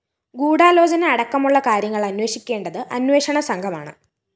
ഗൂഢാലോചനയടക്കമുള്ള കാര്യങ്ങള്‍ അന്വേഷിക്കേണ്ടത് അന്വേഷണ സംഘമാണ്